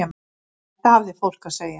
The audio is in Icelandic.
Þetta hafði fólk að segja.